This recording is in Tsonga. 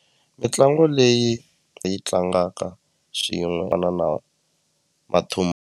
Mitlangu leyi hi yi tlangaka xin'we va na na .